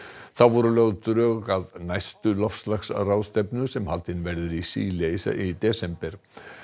þá voru lögð drög að næstu loftslagsráðstefnu sem haldin verður í Síle í desember